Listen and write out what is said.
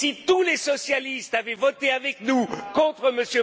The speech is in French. Si tous les socialistes avaient voté avec nous contre M.